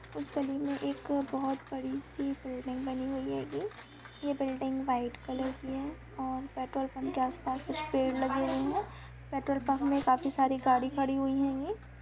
उसे गली में एक बहुत बड़ी सी बिल्डिंग बनी हुई है यह बिल्डिंग व्हाइट कलर की है और पेट्रोल पंप के आसपास कुछ पेड़ लगे हुए हैं पेट्रोल पंप में काफी सारी गाड़ी खड़ी हुई है ।